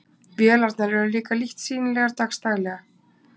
Vélarnar eru líka lítt sýnilegar dags daglega.